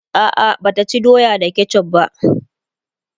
a'a Bata ci doya da ketchuf va